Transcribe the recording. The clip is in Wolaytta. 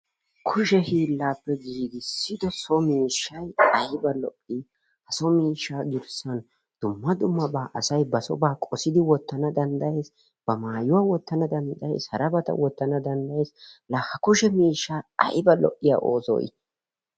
Kushe hiillaappe giigissido so miishshay aybba lo''i! so miishsha garssan asay dumma dumma ba sooba qodidi wottana danddayees, ba maayyuwaa wottana danddayees, harabata wottana danddayees. La ha kushe miishsha aybba lo''iya ooso!